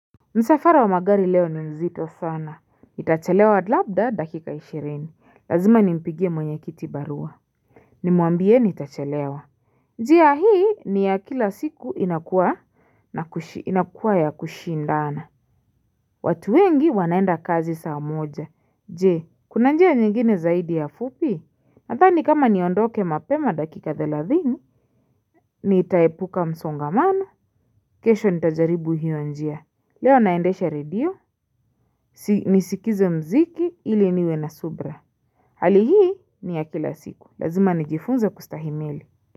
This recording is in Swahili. Msafara wa magari leo ni mzito sana. Nitachelewa labda dakika ishirini. Lazima ni mpigie mwenye kiti barua. Nimuambie nitachelewa. Njia hii ni ya kila siku inakuwa na kushi inakuwa ya kushi ndana. Watu wengi wanaenda kazi saa moja. Je, kuna njia nyingine zaidi ya fupi? Nathani kama niondoke mapema dakika thelathini. Nitaepuka msongamano. Kesho nitajaribu hiyo njia. Leo naendesha redio. Nisikize mziki ili niwe na subra. Hali hii ni ya kila siku. Lazima nijifunze kustahimili.